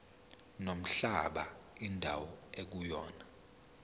nomhlaba indawo ekuyona